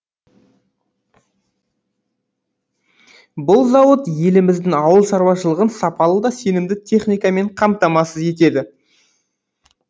бұл зауыт еліміздің ауыл шараушылығын сапалы да сенімді техникамен қамтамасыз етеді